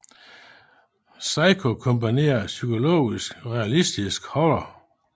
Psycho kombinerede psykologisk og realistisk horror